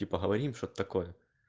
типа говорим что-то такое